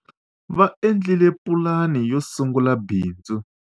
va endlile pulani yo sungula bindz